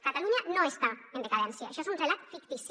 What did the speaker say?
catalunya no està en decadència això és un relat fictici